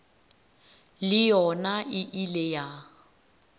le yona e ile ya